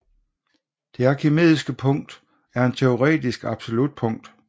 Det arkimediske punkt er et teoretisk absolut punkt